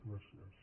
gràcies